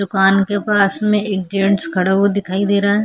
दुकान के पास में एक जेंट्स खड़ा हुआ दिखाई दे रहा है।